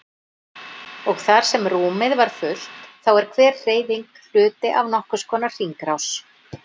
Og þar sem rúmið var fullt þá er hver hreyfing hluti af nokkurs konar hringrás.